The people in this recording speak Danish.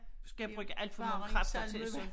Skal jeg bruge alt for mange kræfter til så